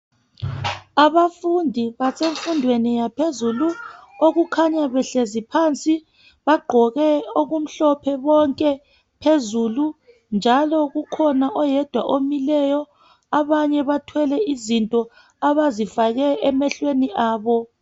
Abafundi basemfundweni yaphezulu. Abakhanya behleli phansi. Bagqoke okumhlophe bonke phezulu njalo kukhona oyedwa omileyo .Abanyebathwele izinto abazifake emehlweni abo.